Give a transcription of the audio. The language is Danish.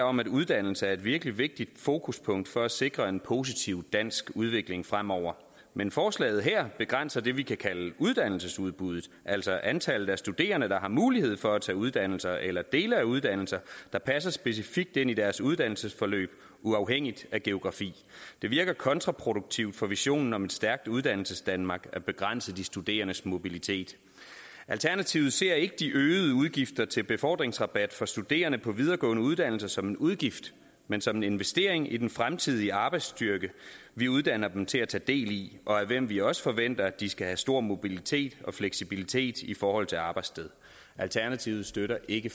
om at uddannelse er et virkelig vigtigt fokuspunkt for at sikre en positiv dansk udvikling fremover men forslaget her begrænser det vi kan kalde uddannelsesudbuddet altså antallet af studerende der har mulighed for at tage uddannelser eller dele af uddannelser der passer specifikt ind i deres uddannelsesforløb uafhængigt af geografi det virker kontraproduktivt for visionen om et stærkt uddannelsesdanmark at begrænse de studerendes mobilitet alternativet ser ikke de øgede udgifter til befordringsrabat for studerende på videregående uddannelser som en udgift men som en investering i den fremtidige arbejdsstyrke vi uddanner dem til at tage del i og af hvem vi også forventer at de skal have stor mobilitet og fleksibilitet i forhold til arbejdssted alternativet støtter ikke